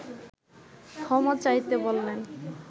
ক্ষমা চাইতে বললে